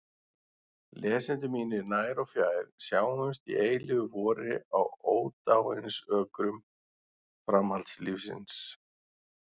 Lesendur mínir nær og fjær, sjáumst í eilífu vori á ódáinsökrum framhaldslífsins!